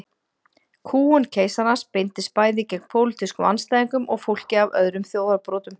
Kúgun keisarans beindist bæði gegn pólitískum andstæðingum og fólki af öðrum þjóðarbrotum.